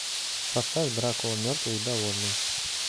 поставь дракула мертвый и довольный